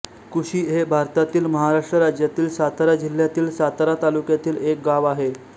कुशी हे भारतातील महाराष्ट्र राज्यातील सातारा जिल्ह्यातील सातारा तालुक्यातील एक गाव आहे